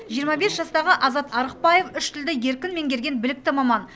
жиырма бес жастағы азат арықбаев үш тілді еркін меңгерген білікті маман